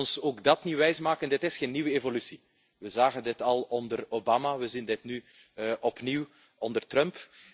Laat ons ook dat niet wijs maken dit is geen nieuwe evolutie. We zagen dit al onder Obama, we zien dit nu opnieuw onder Trump.